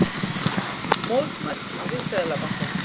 Mótmælt við Seðlabankann